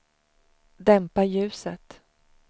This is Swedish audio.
dämpa ljuset